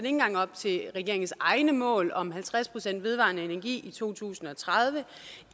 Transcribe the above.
engang op til regeringens egne mål om halvtreds procent vedvarende energi i to tusind og tredive